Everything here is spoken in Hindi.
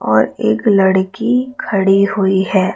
और एक लड़की खड़ी हुई है।